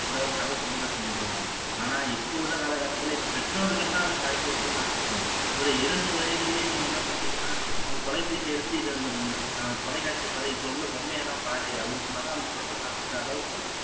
ஒரு கதை சொல்லி தான் செஞ்சுட்டு இருந்தாங்க ஆனா இப்போ உள்ள காலக்கட்டத்துல இப்போ பெற்றோர்கள் தான் அதை பழக்கி விட்டதுன்னு நான் சொல்றேன் ஒரு இரண்டு வயதுலையே நீங்க என்ன பண்றீங்கன்னா உங்க தொலைபேசியை எடுத்து இதை அ தொலைக்காட்சியை பாரு இதுல உள்ள பொம்மை எல்லாம் பாரு அப்படின்னு சொன்னாதான் அந்த கொழந்தை சாப்புடுற அளவுக்கு